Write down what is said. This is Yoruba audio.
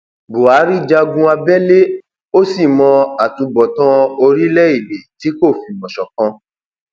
buhari jagun abẹlé ó sì mọ àtúbọtán orílẹèdè tí kò fìmọ ṣọkan